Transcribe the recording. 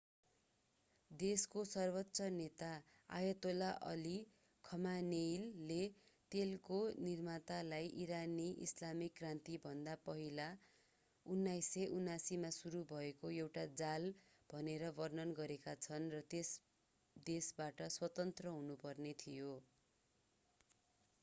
देशका सर्वोच्च नेता अयतोला अली खमानेइले तेलको निर्मातालाई ईरानी ईस्लामिक क्रान्तिभन्दा पहिला 1979 मा सुरु भएको एउटा जाल भनेर वर्णन गरेका छन् र त्यस देशबाट स्वतन्त्र हुनुपर्ने थियो